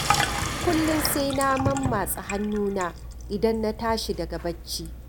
Kullum sai na mammatsa hannuna idan na tashi daga bacci